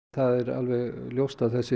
það er alveg ljóst að þessi